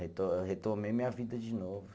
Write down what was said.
Eu retomei minha vida de novo.